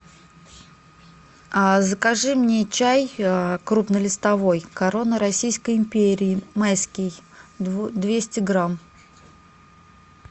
а закажи мне чай крупнолистовой корона российской империи майский двести грамм